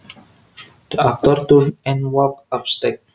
The actor turned and walked upstage